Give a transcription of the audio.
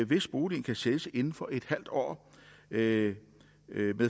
hvis boligen kan sælges inden for en halv år med